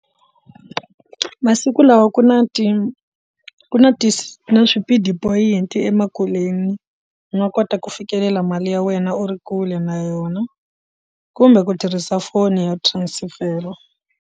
Masiku lawa ku na ti ku na ti swipidi point emakuleni u nga kota ku fikelela mali ya wena u ri kule na yona kumbe ku tirhisa foni ya transfer.